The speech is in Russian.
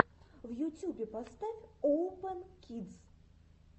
в ютюбе поставь оупэн кидс